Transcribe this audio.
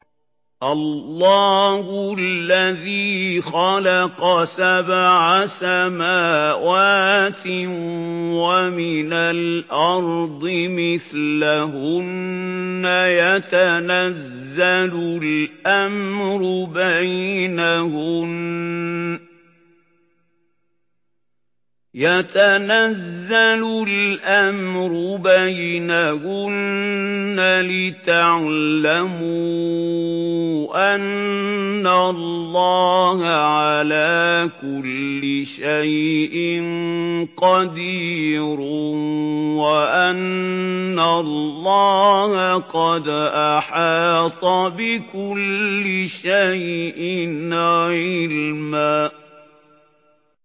اللَّهُ الَّذِي خَلَقَ سَبْعَ سَمَاوَاتٍ وَمِنَ الْأَرْضِ مِثْلَهُنَّ يَتَنَزَّلُ الْأَمْرُ بَيْنَهُنَّ لِتَعْلَمُوا أَنَّ اللَّهَ عَلَىٰ كُلِّ شَيْءٍ قَدِيرٌ وَأَنَّ اللَّهَ قَدْ أَحَاطَ بِكُلِّ شَيْءٍ عِلْمًا